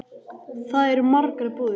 Þar eru margar búðir.